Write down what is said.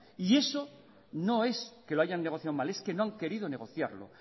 y eso no es que lo hayan negociado mal es que no han querido negociarlo